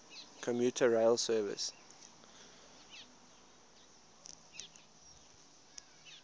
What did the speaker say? commuter rail service